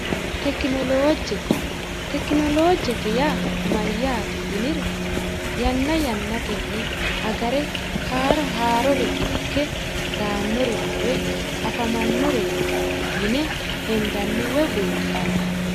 Tekinoloojje tekinoloojjete yaa mayyaate yiniro yanna yannatenni agare haaro haarori ikke daannorenna woy afamannoreeti yine hendanni woy buunxanni